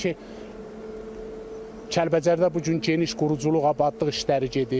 Təbii ki, Kəlbəcərdə bu gün geniş quruculuq abadlıq işləri gedir.